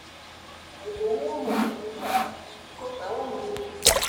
I go wear my sneakers because I wan go field.